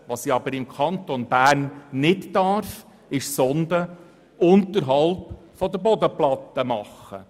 Allerdings darf ich im Kanton Bern keine Sonden unterhalb der Bodenplatten legen.